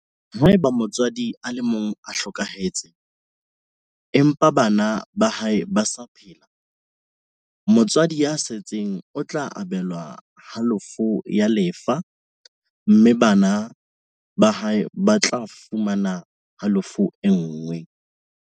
Haeba motswadi a le mong o hlokahetse, empa bana ba hae ba sa phela, motswadi ya setseng o tla abelwa halofo ya lefa mme bana ba hae ba tla fumana halofo e nngwe.